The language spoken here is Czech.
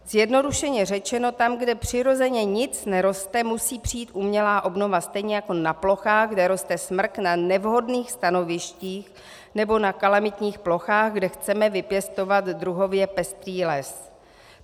Zjednodušeně řečeno tam, kde přirozeně nic neroste, musí přijít umělá obnova, stejně jako na plochách, kde roste smrk na nevhodných stanovištích nebo na kalamitních plochách, kde chceme vypěstovat druhově pestrý les.